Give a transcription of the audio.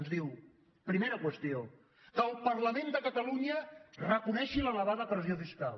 ens diu primera qüestió que el parlament de catalunya reconegui l’elevada pressió fiscal